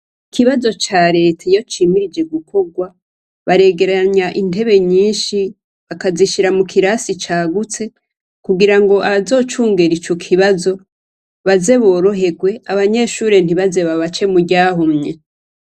Ikibazo careta iyo cimirije gukorwa baregeranya intebe nyinshi bakagishira mukirasi cagutse kugira abazocungera ico kibazo baze boroherwe abanyeshure ntizobace muryahumye.